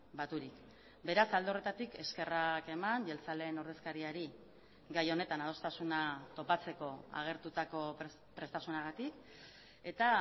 baturik beraz alde horretatik eskerrak eman jeltzaleen ordezkariari gai honetan adostasuna topatzeko agertutako prestasunagatik eta